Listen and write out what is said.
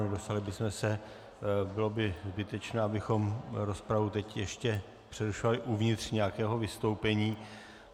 Nedostali bychom se, bylo by zbytečné, abychom rozpravu teď ještě přerušovali uvnitř nějakého vystoupení.